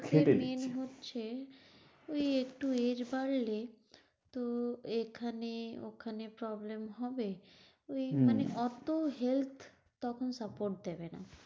Main হচ্ছে ওই একটু age বাড়লে তো এখানে ওখানে problem হবে। ওই মানে অতো health তখন support দেবে না।